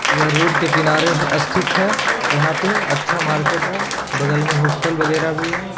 यह रोड के किनारे अस्थित है। यहाॅं पे अच्छा मार्किट है बगल में होस्टल वगेरा भी है।